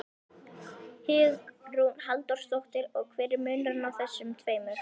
Hugrún Halldórsdóttir: Og hver er munurinn á þessum tveimur?